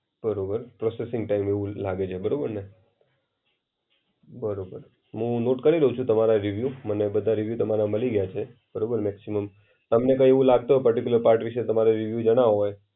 બરોબર, processing time એવું લાગે છે બરોબરને બરોબર. હું નોટ કરી લેવ છુ તમારા રિવ્યૂ મને બધા રિવ્યૂ તમારા મળી ગ્યા છે. બરોબર મેક્સિમમઃ. તમને કઈ એવું લાગતો પર્ટિક્યુલર પાર્ટ ઇશુ તમારો યુઝ ન હોય?